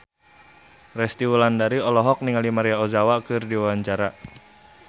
Resty Wulandari olohok ningali Maria Ozawa keur diwawancara